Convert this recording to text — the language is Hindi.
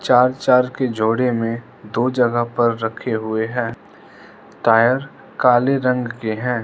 चार चार के जोड़े में दो जगह पर रखे हुए हैं टायर काले रंग के हैं।